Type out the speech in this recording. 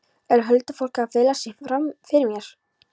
Er huldufólkið að fela sig fyrir mér?